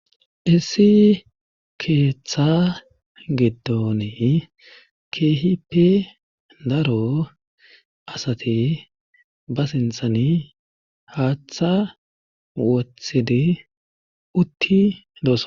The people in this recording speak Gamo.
Issi keeththa gidoni keehippe daro asati ba sinthan haaththa wothidi utti doosa.